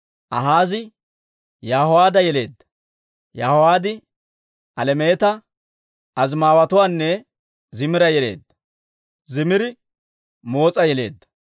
Akaazi Yaho'aada yeleedda. Yaho'aad Alemeeta, Azimaaweetuwaanne Zimira yeleedda. Zimiri Moos'a yeleedda;